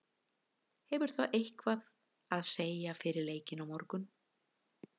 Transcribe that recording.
Hefur það eitthvað að segja fyrir leikinn á morgun?